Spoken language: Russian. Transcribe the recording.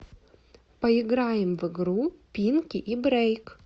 поиграем в игру пинки и брейк